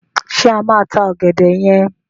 Ṣé a máa ta ọ̀gẹ̀dẹ̀ yẹn?